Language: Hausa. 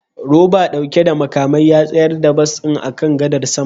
Roba dauke da makamai ya tsayar da bas din akan gadar sama